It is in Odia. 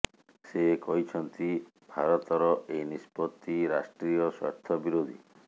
ସେ କହିଛନ୍ତି ଭାରତର ଏହି ନିଷ୍ପତ୍ତି ରାଷ୍ଟ୍ରୀୟ ସ୍ୱାର୍ଥ ବିରୋଧୀ